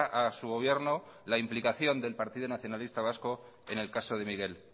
a su gobierno la implicación del partido nacionalista vasco en el caso de miguel